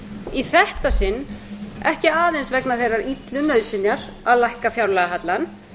í þetta sinn ekki aðeins vegna þeirrar illu nauðsynjar að lækka fjárlagahallann